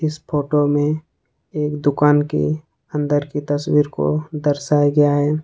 इस फोटो में एक दुकान के अंदर की तस्वीर को दर्शाया गया है।